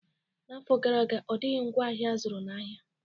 N'afọ gara aga, ọ dịghị ngwaahịa azụrụ n'ahịa